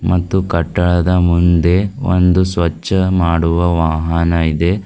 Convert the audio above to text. ಮತ್ತು ಕಟ್ಟಡದ ಮುಂದೆ ಒಂದು ಸ್ವಚ್ಛ ಮಾಡುವ ವಾಹನ ಇದೆ.